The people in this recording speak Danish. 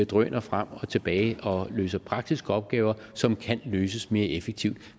drøner frem og tilbage og løser praktiske opgaver som kan løses mere effektivt